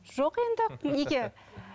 жоқ енді неге